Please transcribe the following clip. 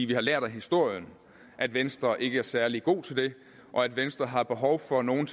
vi har lært af historien at venstre ikke er særlig gode til det og at venstre har behov for at nogen